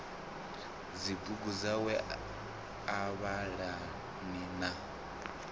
dzibugu dzawe a livhana na